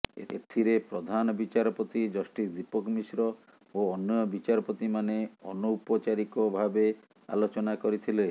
ଏଥିରେ ପ୍ରଧାନ ବିଚାରପତି ଜଷ୍ଟିସ ଦୀପକ ମିଶ୍ର ଓ ଅନ୍ୟ ବିଚାରପତିମାନେ ଅନୌପଚାରିକ ଭାବେ ଆଲୋଚନା କରିଥିଲେ